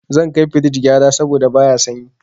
Zan kai firij gyara saboda baya sanyi.